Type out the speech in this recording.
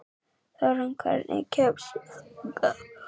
Þórunn, hvernig kemst ég þangað?